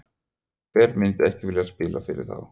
Hver myndi ekki vilja spila fyrir þá?